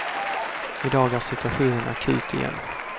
I dag är situationen akut igen.